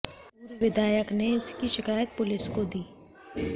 पूर्व विधायक ने इसकी शिकायत पुलिस को दी